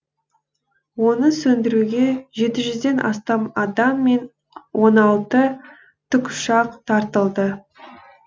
оны сөндіруге жеті жүзден астам адам мен он алты тікұшақ тартылды